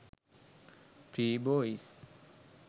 free boys